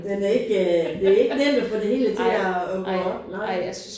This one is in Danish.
Den er ikke øh det er ikke nemt at få det hele til at at gå op nej